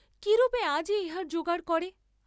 কিরূপে আজই ইহার জোগাড় করে।